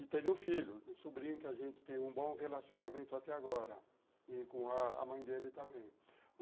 E teve um filho, um sobrinho que a gente tem um bom relacionamento até agora, e com a a mãe dele também.